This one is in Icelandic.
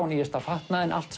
nýjasta fatnaðinn allt